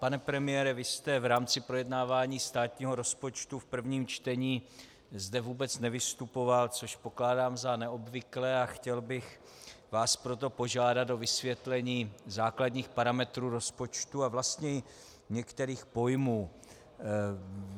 Pane premiére, vy jste v rámci projednávání státního rozpočtu v prvním čtení zde vůbec nevystupoval, což pokládám za neobvyklé, a chtěl bych vás proto požádat o vysvětlení základních parametrů rozpočtu a vlastně i některých pojmů.